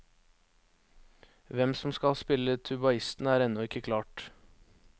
Hvem som skal spille tubaisten, er ennå ikke klart.